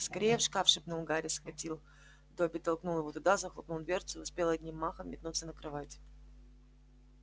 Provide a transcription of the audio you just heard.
скорее в шкаф шепнул гарри схватил добби толкнул его туда захлопнул дверцу и успел одним махом метнуться на кровать